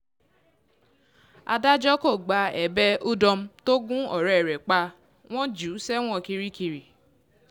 adájọ́ kò gba ẹ̀bẹ̀ udom tó gun ọ̀rẹ́ rẹ̀ pa wọ́n jù ú sẹ́wọ̀n kirikiri